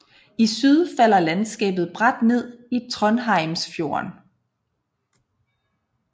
I syd falder landskabet brat ned i Trondheimsfjorden